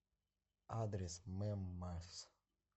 адрес мэммас